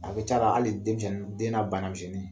A kɛ c'ala hali denmisenni den na banamisenni